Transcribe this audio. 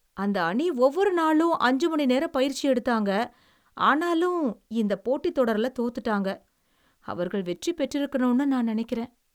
அந்த அணி ஒவ்வொரு நாளும் அஞ்சு மணி நேரம் பயிற்சி எடுத்தாங்க. ஆனாலும், இந்தப் போட்டித் தொடருல தோத்துட்டாங்க. அவர்கள் வெற்றி பெற்றிருக்கனும்னு நான் நெனைக்கிறேன்.